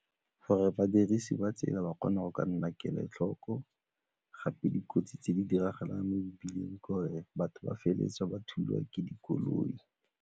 Gore badirisi ba tsela ba kgona go ka nna kelotlhoko gape dikotsi tse di diragalang mo mebileng ke gore batho ba feleletse ba thulwa ke dikoloi.